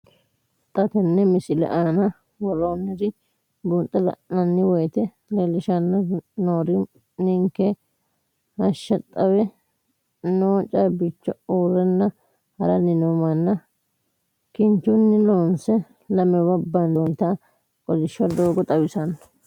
Xa tenne missile aana worroonniri buunxe la'nanni woyiite leellishshanni noori ninkera hashsha xawe noo caabbicho, urrenna haranni noo manna, kinchunni loonse lamewa bandoonnita kolishsho doogo xawissanno.